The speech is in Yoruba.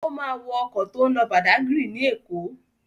Ó máa wọ ọkọ̀ tó ń lọ Badagry ní Èkó.